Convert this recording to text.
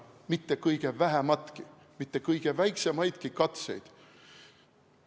Mitte kõige vähemaidki, mitte kõige väiksemaidki katseid.